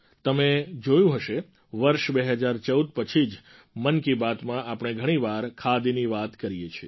તમે જોયું હશે વર્ષ ૨૦૧૪ પછી જ મન કી બાતમાં આપણે ઘણી વાર ખાદીની વાત કરીએ છીએ